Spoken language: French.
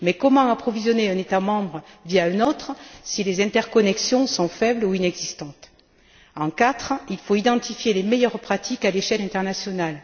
Mais comment approvisionner un État membre via un autre si les interconnexions sont faibles ou inexistantes? En quatre, il faut identifier les meilleures pratiques à l'échelle internationale.